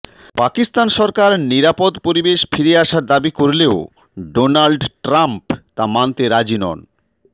পাকিস্তান সরকার নিরাপদ পরিবেশ ফিরে আসার দাবি করলেও ডোনাল্ড ট্রাম্প তা মানতে রাজি নন